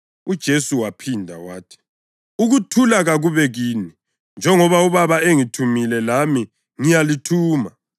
UJesu waphinda wathi, “Ukuthula kakube kini! Njengoba uBaba engithumile, lami ngiyalithuma.”